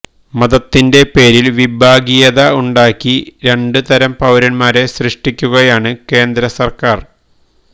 മതത്തിന്റെ പേരില് വിഭാഗീയത ഉണ്ടാക്കി രണ്ട് തരം പൌരന്മാരെ സൃഷ്ടിക്കുകയാണ് കേന്ദ്ര സര്ക്കാര്